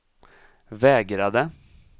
vägrade